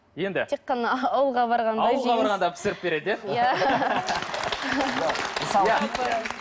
енді тек қана ауылға барғанда ауылға барғанда пісіріп береді иә